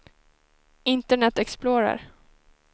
internet explorer